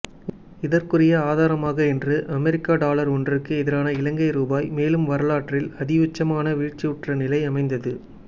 இதற்குரிய ஆதாரமாக இன்று அமெரிக்க டொலர் ஒன்றுக்கு எதிரான இலங்கை ரூபா மேலும் வரலாற்றில் அதியுச்சமான வீழ்ச்சியுற்ற நிலை அமைந்தது